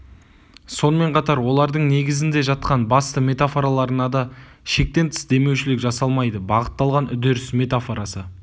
сонымен қатар олардың негізінде жатқан басты метафораларына да шектен тыс демеушілік жасалмайды бағытталған үдеріс метафорасы